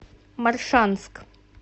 моршанск